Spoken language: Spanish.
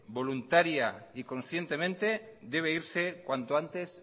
voluntariamente y conscientemente debe irse cuanto antes